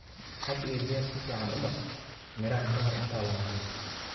Had iyo jeer si fiican u dhaq miraha ka hor intaadan cunin.